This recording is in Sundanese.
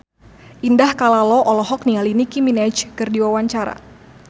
Indah Kalalo olohok ningali Nicky Minaj keur diwawancara